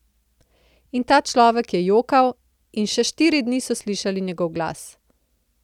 In ta človek je jokal, in še štiri dni so slišali njegov glas.